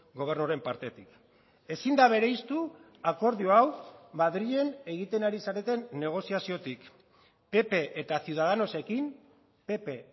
gobernuaren partetik ezin da bereiztu akordio hau madrilen egiten ari zareten negoziaziotik pp eta ciudadanosekin pp